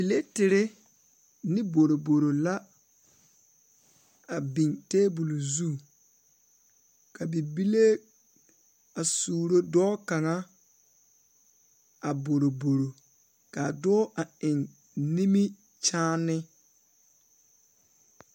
Pilaterre ne boroboro la a biŋ tabol zu ka bibile a suuro dɔɔ kaŋa a boroboro kaa dɔɔ a eŋ nimikyaane.